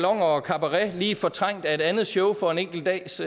og cabaret lige fortrængt af et andet show for en enkelt dags